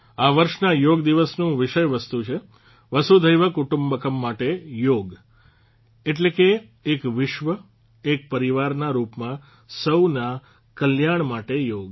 આ વર્ષના યોગ દિવસનું વિષય વસ્તુ છે વસુધૈવ કુટુંબક્મ માટે યોગ એટલે કે એક વિશ્વ એક પરિવારના રૂપમાં સૌના કલ્યાણ માટે યોગ